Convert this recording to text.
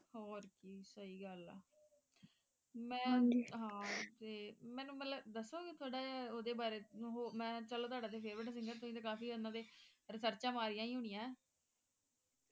ਹੋਰ ਕੀ ਸਹੀ ਗੱਲ ਹੈਮੈਂ ਅਹ ਤੇ ਮੈਨੂੰ ਮਤਲਬ ਦੱਸੋਗੇ ਥੋੜਾ ਜਿਹਾ ਉਸ ਦੇ ਬਾਰੇ ਮੈਂ ਚਲੋ ਤੁਹਾਡਾ ਤੇ favourite singer ਹੈ ਤੁਸੀਂ ਤਾਂ ਕਾਫੀ ਉਨ੍ਹਾਂ ਤੇ ਰਿਸਰਚਾਂ ਮਾਰੀਆਂ ਹੀ ਹੋਣੀਆਂ